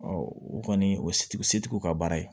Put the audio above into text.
o kɔni o setigiw ka baara ye